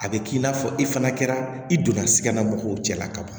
A bɛ k'i n'a fɔ i fana kɛra i donna sikala mɔgɔw cɛla ka ban